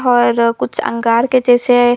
और कुछ अंगार के जैसे--